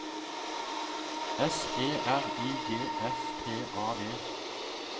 S E R I G S T A D